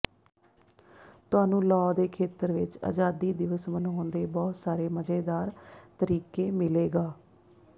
ਤੁਹਾਨੂੰ ਲਾਅ ਦੇ ਖੇਤਰ ਵਿੱਚ ਆਜ਼ਾਦੀ ਦਿਵਸ ਮਨਾਉਣ ਦੇ ਬਹੁਤ ਸਾਰੇ ਮਜ਼ੇਦਾਰ ਤਰੀਕੇ ਮਿਲੇਗਾ